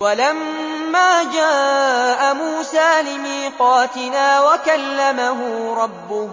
وَلَمَّا جَاءَ مُوسَىٰ لِمِيقَاتِنَا وَكَلَّمَهُ رَبُّهُ